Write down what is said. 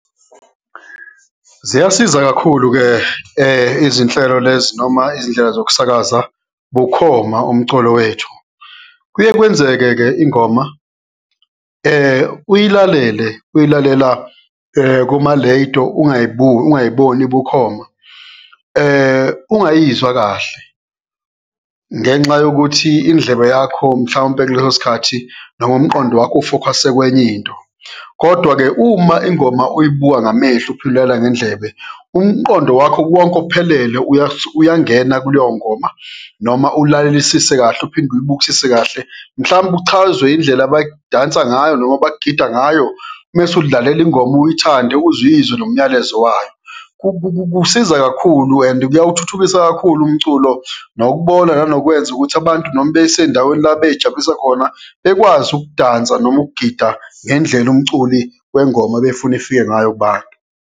Ziyasiza kakhulu-ke izinhlelo lezi noma izindlela zokusakaza bukhoma umculo wethu. Kuye kwenzeke-ke ingoma uyilalele uy'lalela kumalediyo, ungayiboni bukhoma, ungayizwa kahle ngenxa yokuthi indlebe yakho mhlawumbe kuleso sikhathi noma umqondo wakho ufokhase kwenye into kodwa-ke uma ingoma uyibuka ngamehlo uphinde ulalela ngendlebe, umqondo wakho wonke ophelele uyangena kuleyo ngoma. Noma ulalelisise kahle uphinde uyibukisise kahle, mhlawumbe uchazwe indlela abadansa ngayo noma abagida ngayo mese uzidlalele ingoma uyithande, uze uyizwe nomyalezo wayo. Kusiza kakhulu and-e kuyawuthuthukisa kakhulu umculo nokubona nanokwenza ukuthi abantu noma besendaweni la bey'jabulisa khona bekwazi ukudansa noma ukugida ngendlela umculi wengoma ebefuna ifike ngayo kubantu.